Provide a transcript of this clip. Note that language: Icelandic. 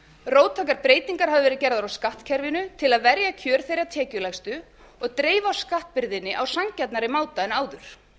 róttækar breytingar hafa verið gerðar á skattkerfinu til að verja kjör þeirra tekjulægstu og dreifa skattbyrðinni á sanngjarnari máta en áður